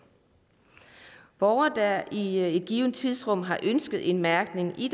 borgere der i et givet tidsrum har ønsket en mærkning i